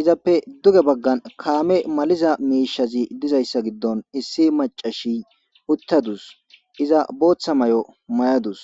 izape qase duge bagani kaameynne maliza miishati dizayssa gidon issi macasi uttadus.iZa bootha mayo mayadus